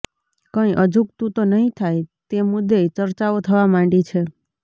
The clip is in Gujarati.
કઇં અજુગતુ તો નહી થાય તે મુદ્દે ય ચર્ચાઓ થવા માંડી છે